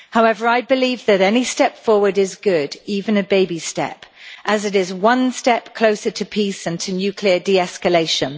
However, I believe that any step forward is good even a baby step as it is one step closer to peace and to nuclear de-escalation.